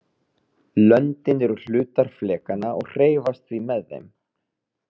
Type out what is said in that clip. Löndin eru hlutar flekanna og hreyfast því með þeim.